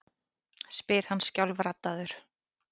spyr hann skjálfraddaður.